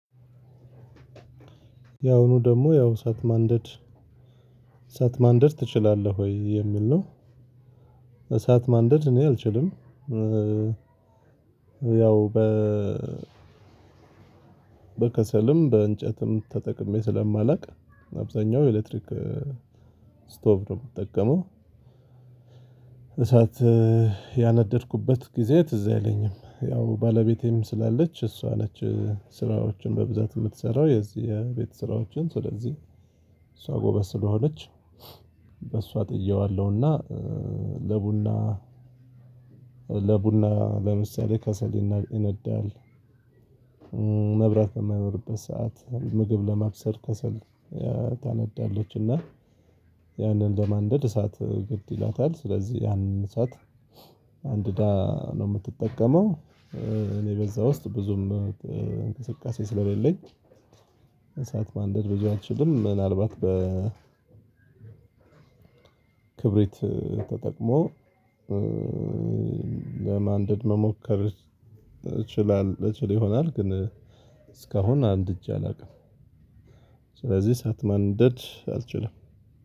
ያሁኑ ደግሞ ያው እሳት ማንደድ እሳት ማንደድ ትችላለህ ወይ የሚል ነው? እሳት ማንደድ እኔ አልችልም። ያው በ በከሰልም በእንጨትም ተጠቅሜ ስለማላውቅ አብዛኛው ኤሌክትሪክ ስቶቭ ነው የምጠቀመው። እሳት ያነደድኩበት ጊዜ ትዝ አይለኝም ያው ባለቤቴም ስላለች እሷ ነች ስራዎችን በብዛት የምትሰራው የዚህ የቤት ስራዎችን ስለዚህ እሷ ጎበዝ ስለሆነች በሷ ጥየዋለሁና። ለቡና ለቡና ለምሳሌ ከሰል ይና ይነዳል። መብራት በማይኖርበት ሰዓት ምግብ ለማብሰል ከሰል ታነዳለች። እና ያንን ለማንደድ እሳት ግድ ይላታል ስለዚህ ያንን እሳት አንድዳ ነው የምትጠቀመው። እኔ በዛ ውስጥ ብዙም እንቅስቃሴ ስለሌለኝ እሳት ማንደር ብዙ አልችልም። ምናልባት በ ክብሪት ተጠቅሞ ለማንደድ መሞከር እችላል እችል ይሆናል ግን እስካሁን አንድጄ አላውቅም። ስለዚህ እሳት ማንደድ አልችልም።